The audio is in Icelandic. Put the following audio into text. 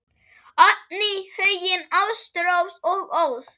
Oddný, Huginn, Ástrós og Ósk.